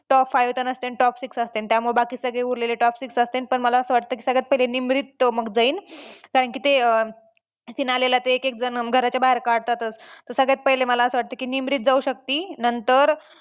Top five तर नसतेन top six असतेन त्यामुळं बाकी सगळे उरलेले top six असतेन पण मला असं वाटतं की सगळ्यात पहिले निमरीत मग जाईल कारण की ते अं finale ला ते एकेक जण घराच्या बाहेर काढतातच तर सगळ्यात पहिले मला असं वाटतं की निमरीत जाऊ शकती. नंतर